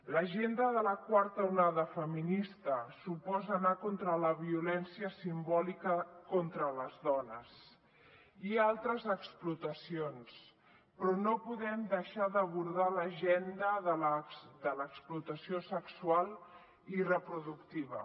l’agenda de la quarta onada feminista suposa anar contra la violència simbòlica contra les dones i altres explotacions però no podem deixar d’abordar l’agenda de l’explotació sexual i reproductiva